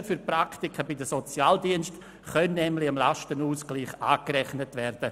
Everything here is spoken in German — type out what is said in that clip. Die Kosten für die Praktika bei den Sozialdiensten können nämlich dem Lastenausgleich angerechnet werden.